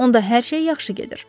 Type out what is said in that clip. Onda hər şey yaxşı gedir.